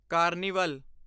carnival